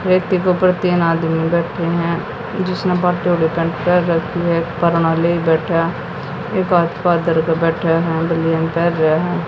ऊपर तीन आदमी बैठे हैं जिसने